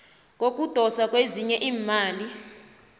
kokudoswa kwezinye iimali